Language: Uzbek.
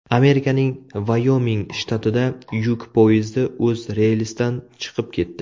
Amerikaning Vayoming shtatida yuk poyezdi o‘z relsidan chiqib ketdi.